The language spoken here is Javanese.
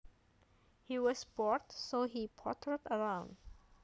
He was bored so he pottered around